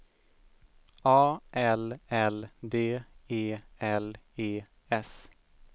A L L D E L E S